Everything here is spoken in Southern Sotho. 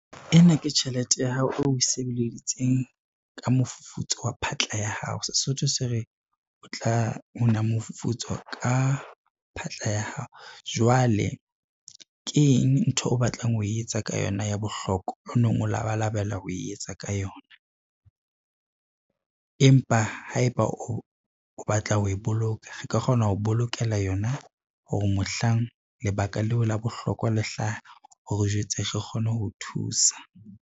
Ena ke tjhelete ya hao o we sebeleditseng ka mofufutso wa phatla ya hao. Sesotho se re tla una mofufutso ka phatla ya hao. Jwale keng ntho o batlang ho e etsa ka yona ya bohlokwa o neng o labalabela ho e etsa ka yona, empa haeba o batla ho e boloka, re ka kgona ho bolokela yona hore mohlang lebaka leo la bohlokwa le hlaha, o re jwetse re kgone ho thusa.